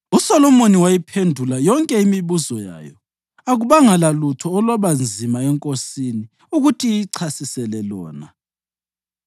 USolomoni wayiphendula yonke imibuzo yayo, akubanga lalutho olwaba nzima enkosini ukuthi iyichasisele lona.